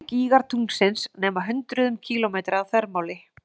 Stærstu gígar tunglsins nema hundruðum kílómetra að þvermáli.